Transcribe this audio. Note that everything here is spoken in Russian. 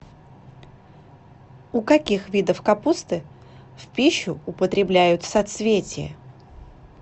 у каких видов капусты в пищу употребляют соцветие